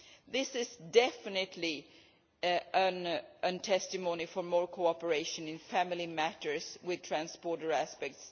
This is definitely a testimony for more cooperation in family matters with trans-border aspects.